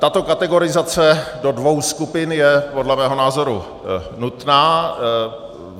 Tato kategorizace do dvou skupin je podle mého názoru nutná.